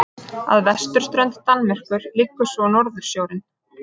Að vesturströnd Danmerkur liggur svo Norðursjórinn.